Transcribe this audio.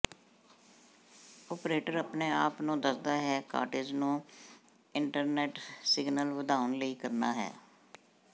operator ਆਪਣੇ ਆਪ ਨੂੰ ਦੱਸਦਾ ਹੈ ਕਾਟੇਜ ਨੂੰ ਇੰਟਰਨੈੱਟ ਸਿਗਨਲ ਵਧਾਉਣ ਲਈ ਕਰਨਾ ਹੈ